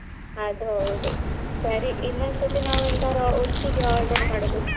ಅದ್ ಹೌದು ಸರಿ ಇನ್ನೊಂದ್ ಸರ್ತಿ ಒಟ್ಟಿಗೆ order .